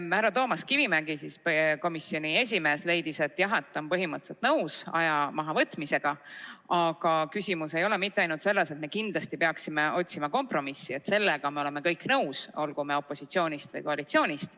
Härra Toomas Kivimägi, komisjoni esimees, leidis, et jah, ta on põhimõtteliselt nõus aja mahavõtmisega, aga küsimus ei ole mitte ainult selles, et me kindlasti peaksime otsima kompromissi – sellega me oleme kõik nõus, olgu me opositsioonist või koalitsioonist.